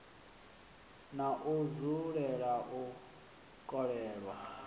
na u dzulela u kolelwa